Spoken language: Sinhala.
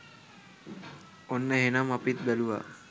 ඔන්න එහනම් අපිත් බැලුවා